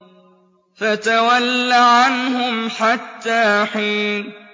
فَتَوَلَّ عَنْهُمْ حَتَّىٰ حِينٍ